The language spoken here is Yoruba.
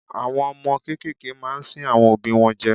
Àwọn ọmọ kékeré máa ń sín àwọn òbí wọn jẹ.